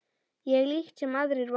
Ég líkt sem aðrir var.